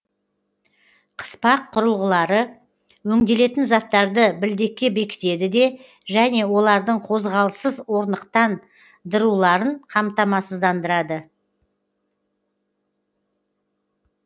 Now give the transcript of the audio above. қыспақ құрылғылары өңделетін заттарды білдекке бекітеді де және олардың қозғалыссыз орнықтан дыруларын қамтамасыздандырады